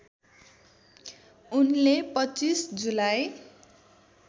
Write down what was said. उनले २५ जुलाई